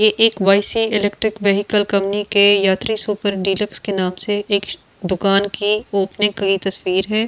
ये एक YC electric vehicle company के यात्री सुपर डीलक्स के नाम से एक दुकान कि ओपनिंग की तस्वीर है इस --